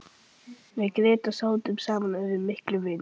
Við Grétar sátum saman og urðum miklir vinir.